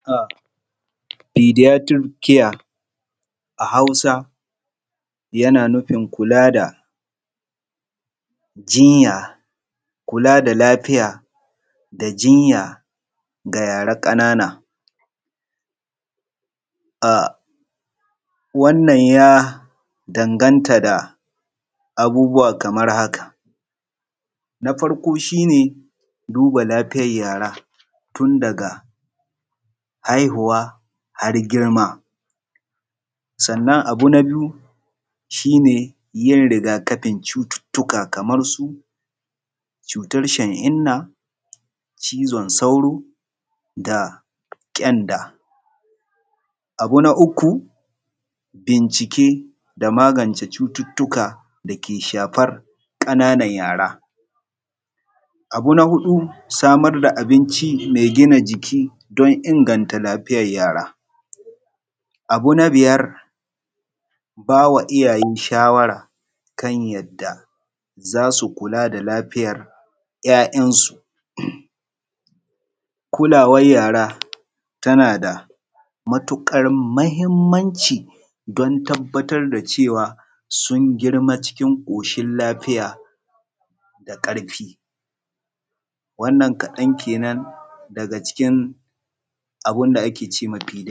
Pediatric care a Hausa yana nufin jinya kula da lafiya jinya ga yara ƙananan. A wannan ya danganta da abubuwan kamar haka, na farko shi ne duba lafiyar yara tun daga haihuwa har girma. Abu na biyu shi ne yin riga-kafin cututtuka kamar na shan inna, cizon sauro da na ƙyanda. Bincike da magance cututtuka dake shafar ƙananan yara, samar da abunci mai gina jiki don inganta lafiyar yara. Abu na biyar shi ne yadda za su kula da lafiyar 'ya'yansu. Kulawa da lafiyar yarayana da mahimmanci don tabbatar da cewa sun girma cikin lafiya da ƙarfi. Wannan kaɗan kenan daga cikin abun da ake cema pediatric care.